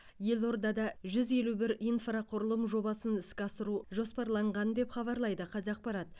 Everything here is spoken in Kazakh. елордада жүз елу бір инфрақұрылым жобасын іске асыру жоспарланған деп хабарлайды қазақпарат